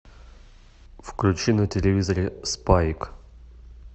включи на телевизоре спайк